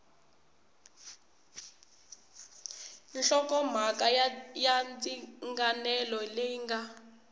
nhlokomhaka ya ndzinganelo leyi nga